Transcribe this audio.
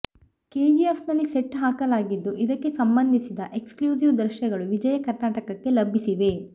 ಕೆಜಿಎಫ್ನಲ್ಲಿ set ಹಾಕಲಾಗಿದ್ದು ಇದಕ್ಕೆ ಸಂಬಂಧಿಸಿದ ಎಕ್ಸ್ಕ್ಲೂಸೀವ್ ದೃಶ್ಯಗಳು ವಿಜಯ ಕರ್ನಾಟಕಕ್ಕೆ ಲಭಿಸಿವೆ